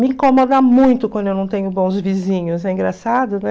Me incomoda muito quando eu não tenho bons vizinhos, é engraçado, né?